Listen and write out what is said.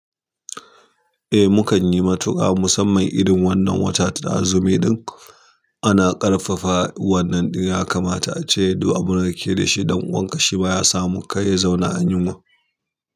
Eh, mu kan yi matuƙa musamman irin wannan wata ta azumi ɗin. Ana ƙarfafa wannan ɗin ya kamata a ce duk abunda kake da shi ɗan uwanka shi ma ya samu kar ya zauna a yunwa.